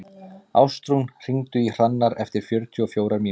Ástrún, hringdu í Hrannar eftir fjörutíu og fjórar mínútur.